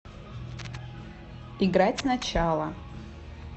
играть сначала